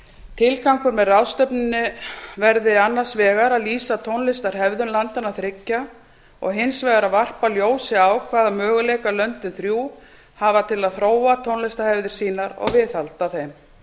tilgangurinn með ráðstefnunni verði annars vegar að lýsa tónlistarhefðum landanna þriggja og hins vegar að varpa ljósi á hvaða möguleika löndin þrjú hafi til að þróa tónlistarhefðir sínar og viðhalda þeim